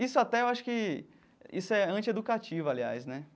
Isso até eu acho que... Isso é anti-educativo, aliás, né?